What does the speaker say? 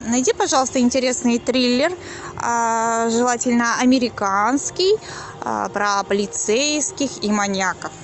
найди пожалуйста интересный триллер желательно американский про полицейских и маньяков